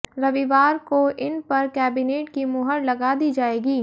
रविवार को इन पर केबिनेट की मुहर लगा दी जायेगी